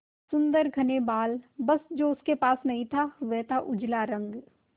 सुंदर घने बाल बस जो उसके पास नहीं था वह था उजला रंग